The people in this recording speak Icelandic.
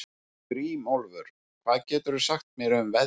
Grímólfur, hvað geturðu sagt mér um veðrið?